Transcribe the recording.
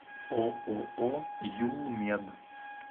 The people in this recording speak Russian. ооо юлмед